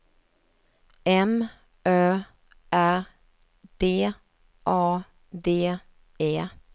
M Ö R D A D E